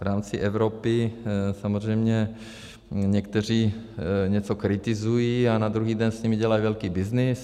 V rámci Evropy samozřejmě někteří něco kritizují a na druhý den s nimi dělají velký byznys.